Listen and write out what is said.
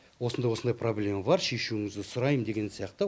осындай осындай проблема бар шешуіңізді сұраймын деген сияқты